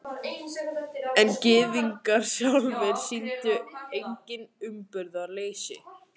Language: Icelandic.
En Gyðingar sjálfir sýndu einnig umburðarleysi.